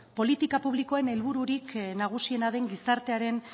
politika publikoen helbururik nagusiena den gizartearen